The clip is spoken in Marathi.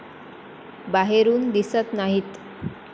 बाहेरून दिसत नाहीत.